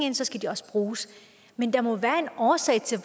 ind skal de også bruges men der må være en årsag til